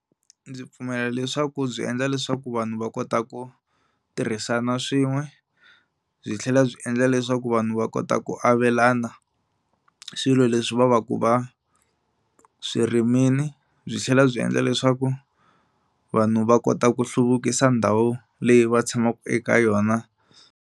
Ndzi pfumela leswaku byi endla leswaku vanhu va kota ku tirhisana swin'we byi tlhela byi endla leswaku vanhu va kota ku avelana swilo leswi va va ku va swi rimini byi tlhela byi endla leswaku vanhu va kota ku hluvukisa ndhawu leyi va tshamaka eka yona.